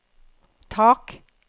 tak